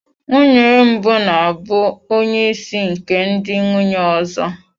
Nwunye mbụ na-abụ onye isi nke ndị nwunye ọzọ.